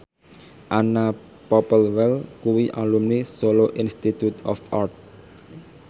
Anna Popplewell kuwi alumni Solo Institute of Art